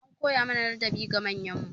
An koya mana ladabi ga manyan mu.